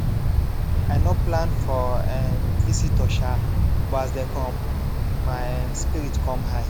i nor plan for um visitor um but as dem come my um spirit com high